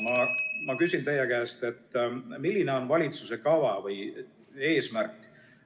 Ma küsin teie käest, milline on valitsuse kava või eesmärk.